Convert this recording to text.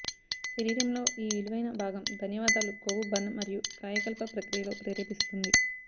శరీరంలో ఈ విలువైన భాగం ధన్యవాదాలు కొవ్వు బర్న్ మరియు కాయకల్ప ప్రక్రియలో ప్రేరేపిస్తుంది